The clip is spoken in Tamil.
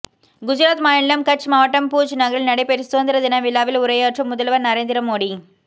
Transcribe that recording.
குஜராத் மாநிலம் கட்ச் மாவட்டம் பூஜ் நகரில் நடைபெற்ற சுதந்திர தின விழாவில் உரையாற்றும் முதல்வர் நரேந்திர மோடி